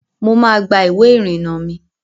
Mo máa gba ìwé ìrìnà mi